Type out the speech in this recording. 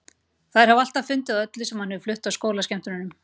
Þær hafa alltaf fundið að öllu sem hann hefur flutt á skólaskemmtunum.